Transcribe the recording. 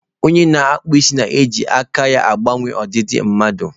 Onye na-akpụ isi na-eji nkà ya gbanwee ọdịdị mmadụ.